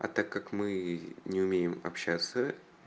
а так как мы не умеем общаться